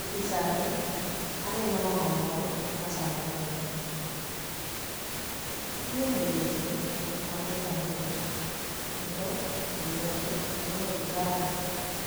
E picha ni aneno mama moro machamo muma. Ochung' e mbele jii jok mathoth ahinya kendo e lwete oting'o lozari